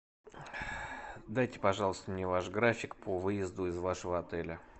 дайте пожалуйста мне ваш график по выезду из вашего отеля